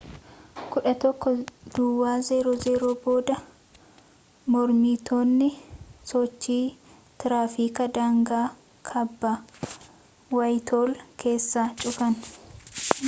11:00 booda mormitoonni sochii tiraafikaa daangaa kaaba waayithool keessaa cufan